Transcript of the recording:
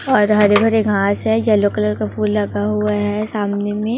और हरे भरे घास है येलो कलर का फूल लगा हुआ है सामने में--